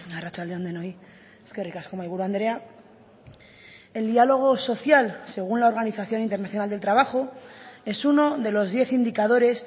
arratsalde on denoi eskerrik asko mahaiburu andrea el diálogo social según la organización internacional del trabajo es uno de los diez indicadores